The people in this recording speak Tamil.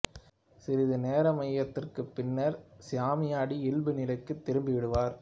சிறிது நேர மயக்கத்திற்குப் பின்னர் சாமியாடி இயல்பு நிலைக்குத் திரும்பி விடுவார்